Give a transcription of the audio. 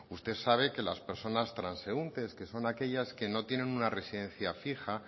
usted sabe que las personas transeúntes que son aquellas que no tienen una residencia fija